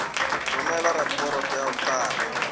romela raporoto ya ho qala